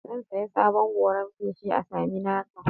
Zan saya sabon goran feshi a Saminaka.